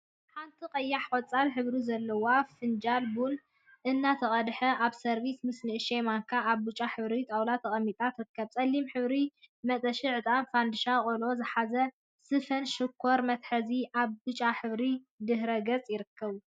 ሓንቲ ቀይሕን ቆፃልን ሕብሪ ዘለዋ ፋንጃል ቡና እናተቀድሐ አብ ሰሪቪስ ምስ ንእሽተይ ማንካ አብ ብጫ ሕብሪ ጣውላ ተቀሚጣ ትርከብ፡፡ ፀሊም ሕብሪ መጠሺ ዕጣን፣ ፋንድሻ ቆሎ ዝሓዘ ስፈን ሽኮር መትሓዚን አብ ብጫ ሕብሪ ድሕረ ገፅ ይርከቡ፡፡